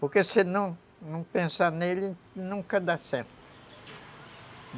Porque se não, se não pensar nele, nunca dá certo.